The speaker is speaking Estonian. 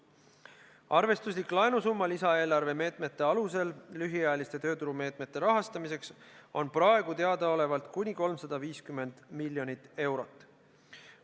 Arvestuslik laenusumma lisaeelarve meetmete alusel lühiajaliste tööturumeetmete rahastamiseks on praegu teadaolevalt kuni 350 miljonit eurot.